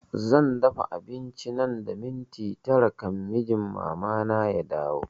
Zan dafa abinci nan da minti tara kan mijin mama na ya dawo